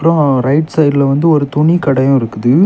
ஆ right சைடுல வன்ட்டு ஒரு துணிக்கடையும் இருக்குது.